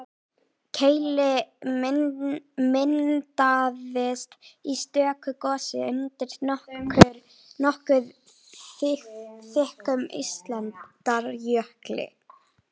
Keilir myndaðist í stöku gosi undir nokkuð þykkum ísaldarjökli.